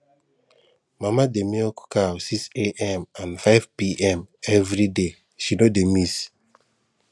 mama dey milk cow 6am and 5pm every day she no dey miss